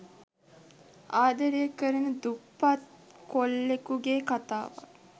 ආදරය කරන දුප්පත් කොල්ලෙකුගේ කතාවක්.